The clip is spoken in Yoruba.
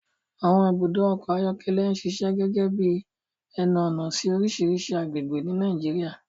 Àwọn ibùdó ọkọ̀ ayọ́kẹ́lẹ́ ń ṣiṣẹ́ gẹ́gẹ́ bí ẹnu-ọ̀nà sí oríṣiríṣi agbègbè ní Nàìjíríà.